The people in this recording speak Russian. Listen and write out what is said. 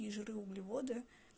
и жиры углеводы